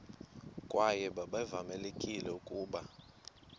kwaye babevamelekile ukuba